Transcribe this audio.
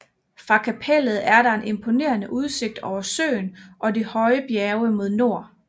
Fra kapellet er der en imponerende udsigt over søen og de høje bjerge mod nord